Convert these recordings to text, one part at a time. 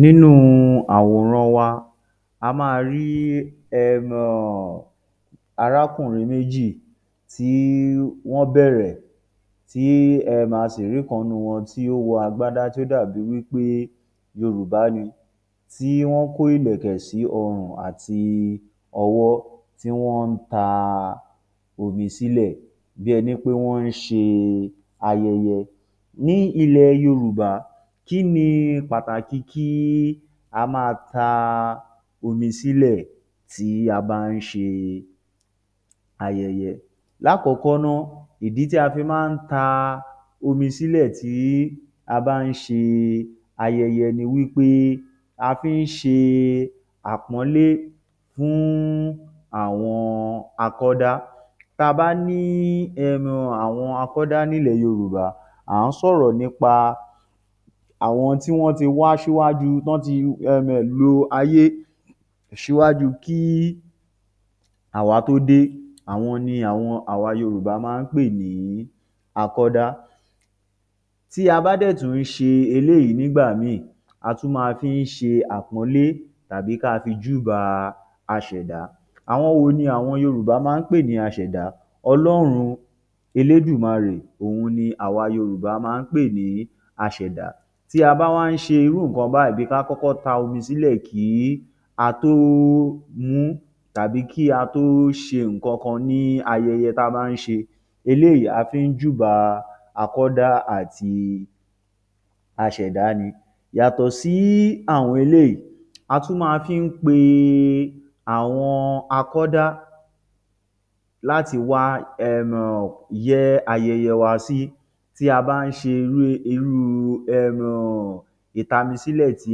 Nínú àwòrán wa, a máa rí um arákùnrin méjì tí wọ́n bẹ̀rẹ̀, tí a sì rí ìkan nínú wọn tí ó wọ agbádá tó dàbí i wí pé Yorùbá ni, tí wọ́n kó ìlẹ̀kẹ̀ sí ọruǹ àti ọwọ́ tí wọ́n ń ta omi sílẹ̀ bí ẹni pé wọ́n ń ṣe ayẹyẹ. Ní ilẹ̀ Yorùbá, kí ni pàtàkì kí a máa ta omi sílẹ̀ nígbà tí a bá ń ṣe ayẹyẹ? L’ákọ̀ọ́kọ́ náá, ìdí tí a fi má ń ta omi sílẹ̀ nígbà tí a bá ń ṣe ayẹyẹ ni wí pé a fi ń ṣe àpọ́nlé fún àwọn akọ́dá. Tá a bá ní um àwọn akọ́dá ní ilẹ̀ Yorùbá, à ń sọ̀rọ̀ nípa àwọn tí wọ́n ti wá ṣíwájú um tán ti um lo ayé ṣíwájú kí àwá tó dé, àwọn ni àwa Yorùbá má ń pè ní akọ́dá. Tí a bá dẹ̀ tún ṣe eléyìí nígbà míì, a tún máa fi ń ṣe àpọ́nlé àbí kí á fi júbà aṣẹ̀dá. Àwọn wo ni àwọn Yorùbá má ń pè ní aṣẹ̀dá? Ọlọ́run Elédùmarè òun ni àwa Yorùbá má ń pè ní aṣẹ̀dá. Tí a bá wá ń ṣe irú nǹkan báyìí, ti á bá ń ta omi sílẹ̀ kí á tó mu ún àbí kí á tó ṣe nǹkankan ní ayẹyẹ tá a bá ń ṣe, eléyìí a fi ń júbà akọ́dá àti aṣẹ̀dá ni. Yàtò sí àwọn elèyìí, a tún máa fi ń pe àwọn akọ́dá láti wá um yẹ́ ayẹyẹ wa sí. Tí a bá ń ṣe irú um ìtamisílẹ̀ tí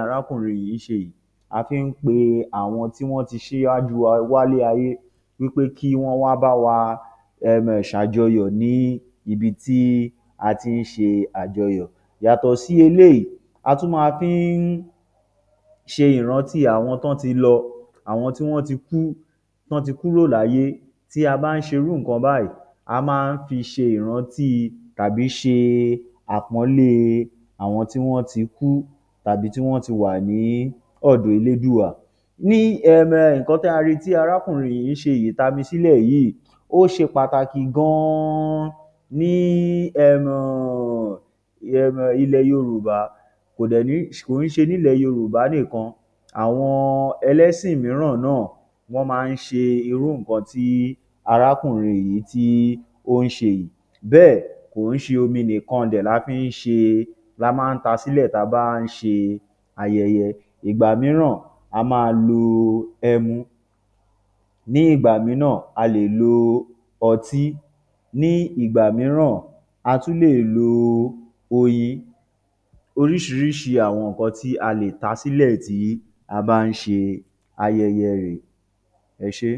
arákùnrin yìí ń ṣe, a fi ń pe àwọn tí wọ́n ti ṣíwájú wa wá sílé ayé wí pé kí wọ́n wá báwa um sàjọyọ̀ ní ibi tí a ti ń ṣe àjọyọ̀. Yàtọ̀ sí eléyìí a tún máa fi ń ṣe ìrántí àwọn tán ti lọ, àwọn tí wọ́n ti kú, tán ti kúrò láyé tí a bá ń ṣe irú nǹkan báyìí a máa fi ń ṣe ìrántí àbí ṣe àpọ́nlé àwọn tí wọ́n ti kú àbí tí wọ́n ti wà ní ọ̀dọ Elédùà. Ní um nǹkan tí a rí i tí arákùnrin yìí ṣe yìí, ìtamisílẹ̀ yíì ó ṣe pàtàkì gan an ní um ilẹ̀ Yorùbá. Kò dẹ̀ kò ń ṣe ní ilẹ̀ Yorùbá nìkan, àwọn ẹlẹ́sìn mííràn náà wọ́n má ń ṣe irú nǹkan tí arákùnrin yìí tí ó ń ṣe. Bẹ́ẹ̀ kò ń ṣe omi nìkan dẹ̀ la fi ń ṣe e, la má ń ta sílẹ̀ tí a bá ń ṣe ayẹyẹ. Ìgbà mííràn, a máa lo ẹmu, ní ìgbà mííràn a lè lo ọtí, ní ìgbà mííràn a tún lè lo oyin, oríṣiríṣi àwọn nǹkan tí a lè ta sílẹ̀ tí a bá ń ṣe ayẹyẹ rèé. Ẹ ṣé.